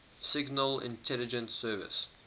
signal intelligence service